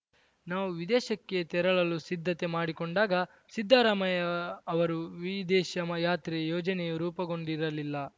ನಾವು ವಿದೇಶಕ್ಕೆ ತೆರಳಲು ಸಿದ್ದತೆ ಮಾಡಿಕೊಂಡಾಗ ಸಿದ್ದರಾಮಯ್ಯ ಅವರು ವಿದೇಶ ಯಮ ಯಾತ್ರೆ ಯೋಜನೆಯೇ ರೂಪುಗೊಂಡಿರಲಿಲ್ಲ